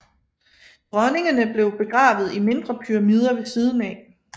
Dronningene blev begravet i mindre pyramider ved siden af